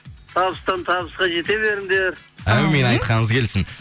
табыстан табысқа жете беріңдер әумин айтқаныңыз келсін